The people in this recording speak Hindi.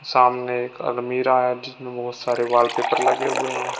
सामने एक अलमीरा है जिसमें बहुत सारे वॉलपेपर लगे हुए हैं।